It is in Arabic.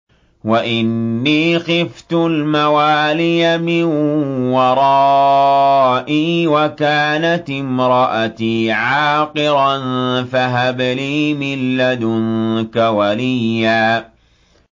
وَإِنِّي خِفْتُ الْمَوَالِيَ مِن وَرَائِي وَكَانَتِ امْرَأَتِي عَاقِرًا فَهَبْ لِي مِن لَّدُنكَ وَلِيًّا